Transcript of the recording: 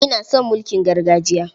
Ina son mulkin gargajiya.